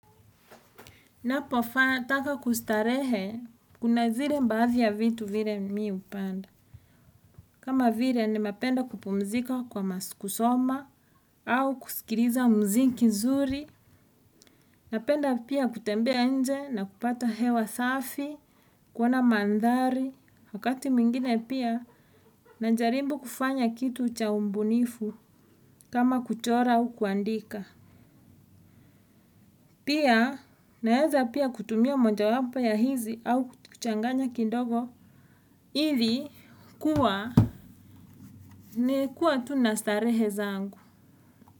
Ninapo taka kustarehe, kuna zile baadhi ya vitu vile mimi hupanda. Kama vile ninapenda kupumzika kwa kusoma au kuskiliza muziki mzuri. Napenda pia kutembea nje na kupata hewa safi, kuona mandhari. Wakati mwingine pia, na jaribu kufanya kitu cha ubunifu, kama kuchora au kuandika. Pia, naweza pia kutumia moja wapo ya hizi au kuchanganya kidogo. Ili kuwa, nilikuwa tu na starehe zangu.